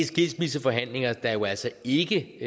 skilsmisseforhandlinger der jo altså ikke